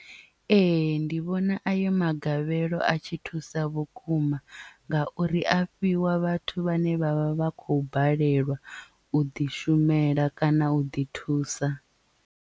Ee ndi vhona ayo magavhelo a tshi thusa vhukuma ngauri a fhiwa vhathu vhane vhavha vha khou balelwa u ḓi shumela kana u ḓi thusa.